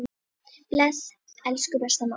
Bless, elsku besta mamma.